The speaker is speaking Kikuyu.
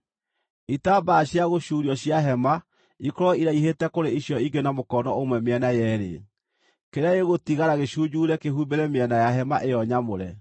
Itambaya cia gũcuurio cia hema ikorwo iraihĩte kũrĩ icio ingĩ na mũkono ũmwe mĩena yeerĩ; kĩrĩa gĩgũtigara gĩcunjuure kĩhumbĩre mĩena ya hema ĩyo nyamũre.